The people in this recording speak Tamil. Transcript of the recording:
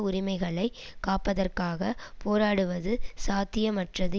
உரிமைகளை காப்பதற்காகப் போராடுவது சாத்தியமற்றது